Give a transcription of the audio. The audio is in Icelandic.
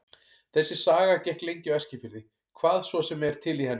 Þessi saga gekk lengi á Eskifirði, hvað svo sem er til í henni.